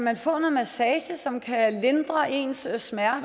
man få noget massage som kan lindre ens smerter